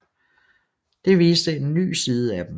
Det viste en ny side af dem